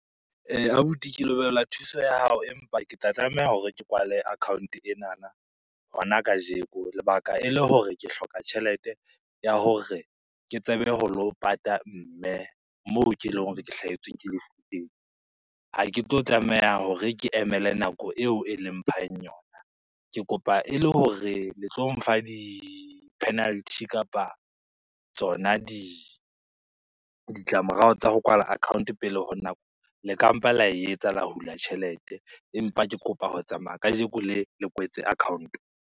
Abuti ke lebohela thuso ya hao, empa ke tla tlameha hore ke kwale account enana hona kajeko, lebaka e le hore ke hloka tjhelete ya hore ke tsebe ho lo pata mme moo ke leng hore ke hlahetswe ke lefu teng. Ha ke tlo tlameha hore ke emele nako eo e leng mphang yona, ke kopa e le hore le tlo mfa di-penalty kapa tsona ditlamorao tsa ho kwala account pele ho nako, le ka mpa la e etsa la hula tjhelete, empa ke kopa ho tsamaya kajeko le le kwetse account.